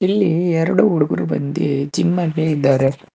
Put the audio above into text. ಇಲ್ಲಿ ಎರಡು ಹುಡುಗ್ರು ಬಂದಿ ಜಿಮ್ ಅಲ್ಲಿ ಇದ್ದಾರೆ.